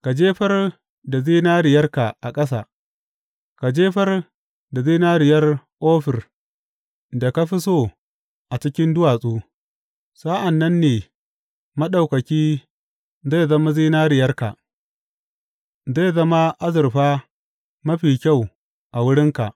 Ka jefar da zinariyarka a ƙasa, ka jefar da zinariyar Ofir da ka fi so a cikin duwatsu, sa’an nan ne Maɗaukaki zai zama zinariyarka, zai zama azurfa mafi kyau a wurinka.